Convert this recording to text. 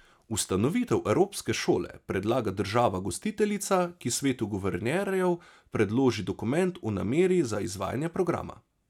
Ustanovitev evropske šole predlaga država gostiteljica, ki svetu guvernerjev predloži dokument o nameri za izvajanje programa.